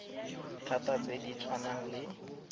thata tse di tshwanang le